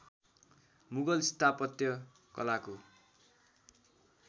मुगल स्थापत्य कलाको